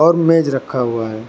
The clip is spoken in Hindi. और मेज रखा हुआ है।